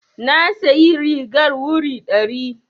Na sayi rigar wuri ɗari.